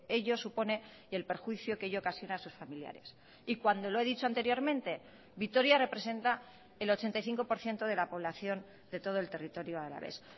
ello supone y el perjuicio que ello ocasiona a sus familiares y cuando lo he dicho anteriormente vitoria representa el ochenta y cinco por ciento de la población de todo el territorio alavés